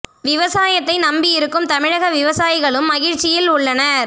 விவசாயத்தை நம்பி இருக்கும் தமிழக விவசாயிகளும் மகிழ்ச்சியில் உள்ளனர்